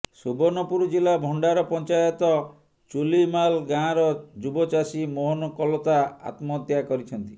ସୁବର୍ଣ୍ଣପୁର ଜିଲ୍ଲା ଭଣ୍ଡାର ପଞ୍ଚାୟତ ଚୁଲୀମାଲ ଗାଁର ଯୁବଚାଷୀ ମୋହନ କଲତା ଆତ୍ମହତ୍ୟା କରିଛନ୍ତି